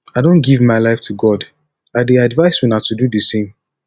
i don give my life to god i dey advice una to do the same